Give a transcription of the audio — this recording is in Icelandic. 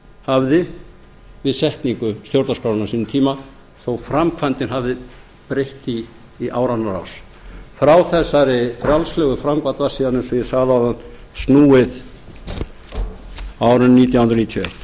hafði við setningu stjórnarskrárinnar á sínum tíma þó framkvæmdin hafi breyst í áranna rás frá þessari frjálslegu framkvæmd var síðan eins og ég sagði áðan snúið á árinu nítján hundruð níutíu og eitt